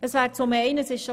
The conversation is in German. Es wurde bereits erwähnt: